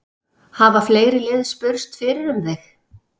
Hafa fleiri lið spurst fyrir um þig?